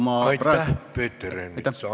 Aitäh, Peeter Ernits!